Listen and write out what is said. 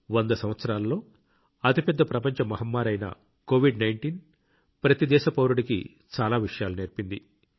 వంద సంవత్సరాలలో అతిపెద్ద ప్రపంచ మహమ్మారి అయిన కోవిడ్19 ప్రతి దేశ పౌరుడికి చాలా విషయాలు నేర్పింది